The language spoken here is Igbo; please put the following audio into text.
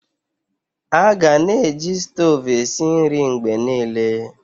Aga-na eji stovu esi nri mgbe niile.